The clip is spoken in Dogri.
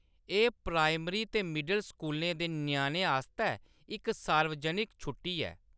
एह्‌‌ प्राइमरी ते मिडल स्कूलें दे ञ्याणें आस्तै इक सार्वजनिक छुट्टी ऐ।